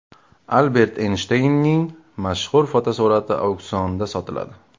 Albert Eynshteynning mashhur fotosurati auksionda sotiladi.